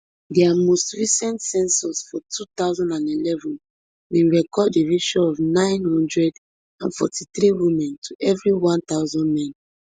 dia most recent census for two thousand and eleven bin record a ratio of nine hundred and forty-three women to evri one thousand men